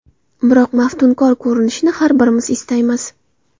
Biroq maftunkor ko‘rinishni har birimiz istaymiz.